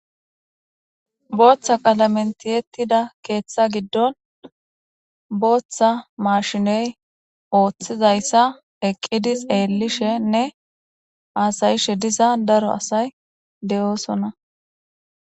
Booththa qalamentiyettida keeththa giddon booththa mashiney ooththizayssa eqqidi seelishenne aasayishe diza daro asay de7oosonna.